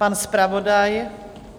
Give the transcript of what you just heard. Pan zpravodaj?